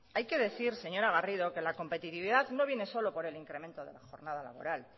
hay que decir señora garrido que la competitividad no viene solo por el incremento de la jornada laboral